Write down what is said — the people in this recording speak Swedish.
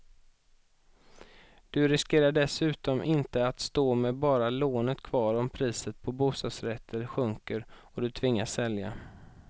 Du riskerar dessutom inte att stå med bara lånet kvar om priset på bostadsrätter sjunker och du tvingas sälja.